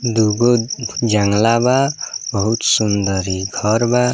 दूगो जंगला बा बहुत सुन्दर इ घर बा।